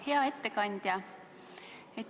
Hea ettekandja!